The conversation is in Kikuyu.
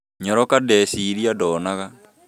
Nyaloka, ndeciiria ndanoga